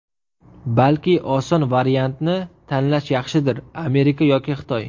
Balki, oson variantni tanlash yaxshidir Amerika yoki Xitoy?